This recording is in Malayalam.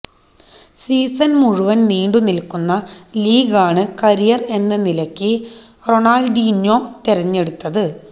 സീസണ് മുഴുവന് നീണ്ടു നില്ക്കുന്ന ലീഗാണ് കരിയര് എന്ന നിലക്ക് റൊണാള്ഡീഞ്ഞോ തിരഞ്ഞെടുത്തത്